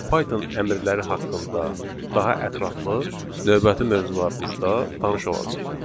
Python əmrləri haqqında daha ətraflı növbəti mövzularımızda tanış olacağıq.